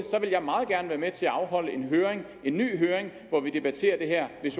vil jeg meget gerne være med til afholde en ny høring hvor vi debatterer det her hvis